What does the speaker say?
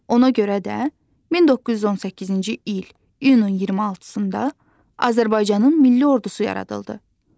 Ona görə də 1918-ci il iyunun 26-da Azərbaycanın milli ordusu yaradıldı.